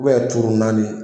turu naani ye